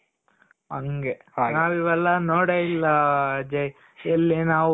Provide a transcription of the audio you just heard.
ಹಂಗೆ ನಾವು ಇವೆಲ್ಲ ನೋಡೇ ಇಲ್ಲ ಅಜಯ್ ಎಲ್ಲಿ ನಾವು